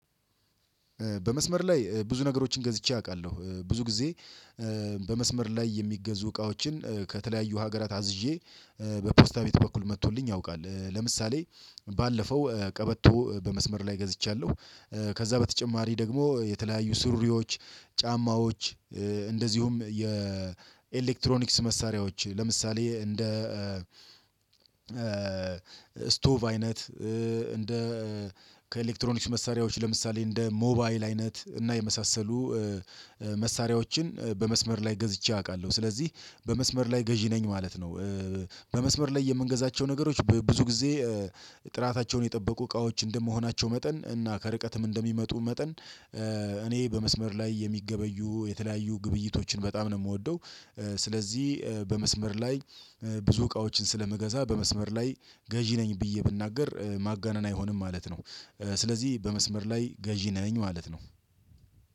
በመስመር ላይ ብዙ ነገሮችን ገዝቼ አውቃለሁ ብዙ ጊዜ በመስመር ላይ የሚገዙ እቃዎችን ከተለያዩ ሀገራት አዝዤ በፖስታ ቤት በኩል መጥቶልኝ ያውቃል። ለምሳሌ ባለፈው ቀበቶ በመስመር ላይ ገዝቻለሁ። ከዛ በተጨማሪ ደግሞ የተለያዩ ሱሪዎች ጫማዎች እንደዚሁም የኤሌክትሮኒክስ መሳሪያዎች ለምሳሌ እንደ ስቶቭ አይነት እ እንደ ከኤሌክትሮኒክስ መሳሪያዎች ለምሳሌ እንደ ሞባይል አይነት እና የመሳሰሉ መሳሪያዎችን በመስመር ላይ ገዝቼ አቃለሁ ስለዚህ በመስመር ላይ ገዢ ነኝ ማለት ነው። በመስመር ላይ የምንገዛቸው ነገሮች ብዙ ጊዜ ጥራታቸውን የጠበቁ እቃዎች እንደመሆናቸው መጠን እና ከርቀትም እንደሚመጡ መጠን እኔ በመስመር ላይ የሚገበዩ የተለያዩ ግብይቶችን በጣም ነው የምወደው። ስለዚህ በመስመር ላይ ብዙ እቃዎችን ስለምገዛ በመስመር ላይ ገዢ ነኝ ብዬ ብናገር ማጋነን አይሆንም ማለት ነው። ስለዚህ በመስመር ላይ ገዢ ነኝ ማለት ነው